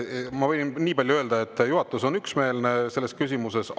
Ma võin nii palju öelda, et juhatus on üksmeelne selles küsimuses.